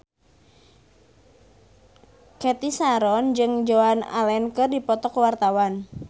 Cathy Sharon jeung Joan Allen keur dipoto ku wartawan